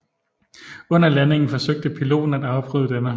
Under landingen forsøgte piloten at afbryde denne